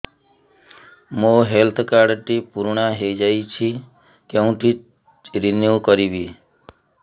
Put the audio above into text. ମୋ health card ଟି ପୁରୁଣା ହେଇଯାଇଛି କେଉଁଠି ରିନିଉ କରିବି